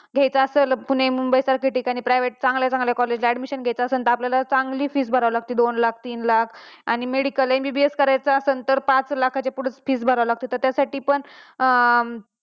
घायच असेल तर पुणे मुंबई सारखया ठिकाणी private चांगल्या ठिकाणी admission घायचा असेल तर आपल्याला चांगली fee भरावी लागते. दोन लाख तीन लाख आणि medical MBBS करायचं असेल तर पाच लाखाच्या पुढे fee भरावी लागते त्या साठी पण